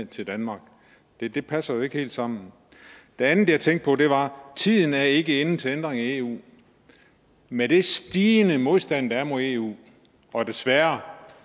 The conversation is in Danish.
til danmark det passer jo ikke helt sammen det andet jeg tænkte på var tiden er ikke inde til en ændring af eu med den stigende modstand der er mod eu og desværre